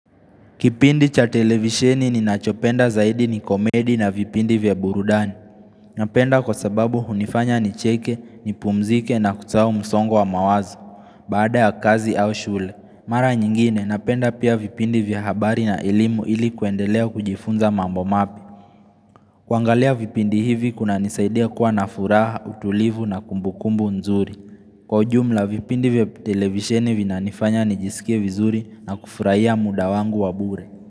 Kipindi cha televisheni ni nachopenda zaidi ni komedi na vipindi vya burudani. Napenda kwa sababu hunifanya nicheke, nipumzike na kutoa msongo wa mawazo. Baada ya kazi au shule. Mara nyingine napenda pia vipindi vya habari na elimu ili kuendelea kujifunza mambo mapya. Kuangalia vipindi hivi kunanisaidia kuwa na furaha, utulivu na kumbukumbu nzuri. Kwa jumla vipindi vya televisheni vinanifanya nijisike vizuri na kufurahia muda wangu wa bure.